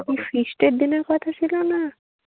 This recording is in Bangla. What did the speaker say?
ওফ feast এর দিনের কথা শুধু না।